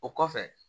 O kɔfɛ